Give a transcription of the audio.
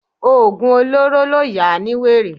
Oògùn olóró ló yà á ní wèrè